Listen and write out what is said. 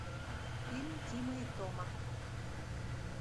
фильм тима и тома